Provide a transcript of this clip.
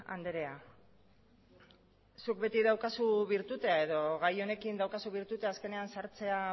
andrea zuk beti daukazu birtutea edo gai honekin daukazu birtutea azkenean sartzea